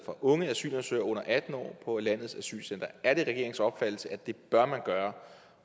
unge asylansøgere under atten år på landets asylcentre er det regeringens opfattelse at det bør man gøre